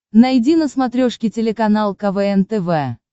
найди на смотрешке телеканал квн тв